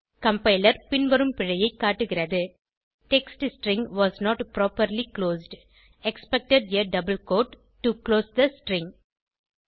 compiler பின்வரும் பிழையைக் காட்டுகிறது text string was not properly closed expected a double quote to close the string